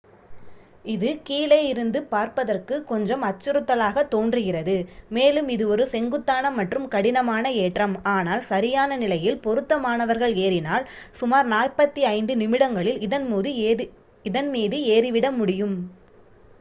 இது கீழே இருந்து பார்ப்பதற்குக் கொஞ்சம் அச்சுறுத்தலாகத் தோன்றுகிறது மேலும் இது ஒரு செங்குத்தான மற்றும் கடினமான ஏற்றம் ஆனால் சரியான நிலையில் பொருத்தமானவர்கள் ஏறினால் சுமார் 45 நிமிடங்களில் இதன்மீது ஏறிவிட முடியும்